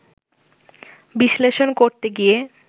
বিশ্লেষণ করতে গিয়ে